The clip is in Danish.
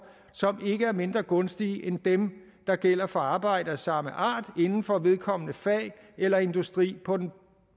som ikke er mindre gunstige end dem der gælder for arbejde af samme art inden for vedkommende fag eller industri på